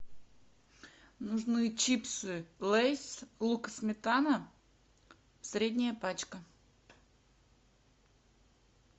нужны чипсы лейс лук и сметана средняя пачка